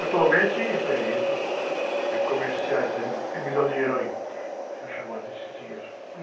Atualmente isso, é, enredo, eh, comerciais, aí, me, e me dá um dinheiro aí. São chamados esses enredos.